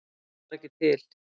Ég var ekki til.